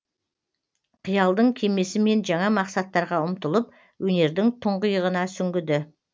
қиялдың кемесімен жаңа мақсаттарға ұмтылып өнердің тұңғиығына сүңгіді